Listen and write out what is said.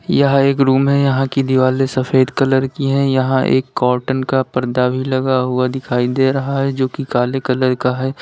यह एक रूम है यहां की दिवाले सफेद कलर की है यहां एक कॉटन का पर्दा भी लगा हुआ दिखाई दे रहा है जो कि काले कलर का है।